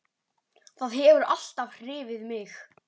Það hefur alltaf hrifið mig.